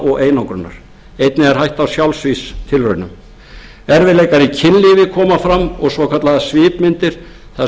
og einangrunar einnig er hætta á sjálfsvígstilraunum erfiðleikar í kynlífi koma fram og svokallaðar svipmyndir þar